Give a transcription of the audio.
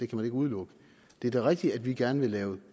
kan udelukke det er da rigtigt at vi gerne vil lave